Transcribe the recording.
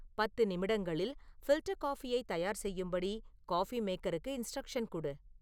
பத்து நிமிடங்களில் ஃபில்டர் காஃபியை தயார் செய்யும்படி காஃபி மேக்கருக்கு இன்ஸ்ட்ரக்ஷன் குடு